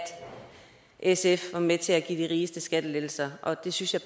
sf var med til at give de rigeste skattelettelser og det synes jeg